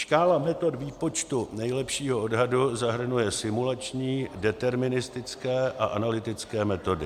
Škála metod výpočtu nejlepšího odhadu zahrnuje simulační, deterministické a analytické metody.